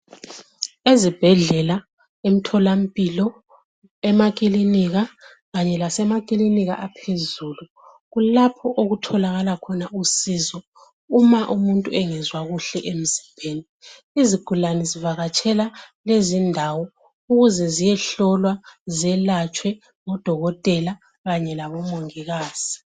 Ezibhedlela, emtholampilo, emakilinika kanye lasemakilinika aphezulu kulapho okutholakala khona usizo uma umuntu engezwa kuhle emzimbeni. Izigulane zivakatshela lezi indawo ziyehlolwa, zelatshwe ngudokotela kanye labomongikazi.